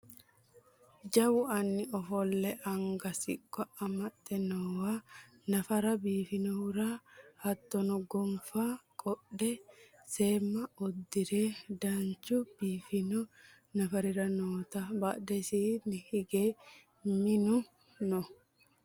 jawu anni ofolle anga siqqo amaxxe noowa nafara biifannohura hattono gonfa qodhe seemma uddire danchu biifanno nafrira nootanna badhesiinni hige minu no